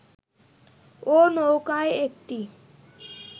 ও-নৌকায় একটি